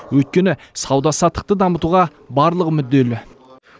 өйткені сауда саттықты дамытуға барлығы мүдделі